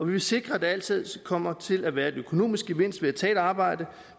vil sikre at der altid kommer til at være en økonomisk gevinst ved at tage et arbejde